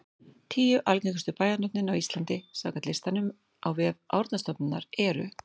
Tíu algengustu bæjarnöfnin á Íslandi samkvæmt listanum á vef Árnastofnunar eru: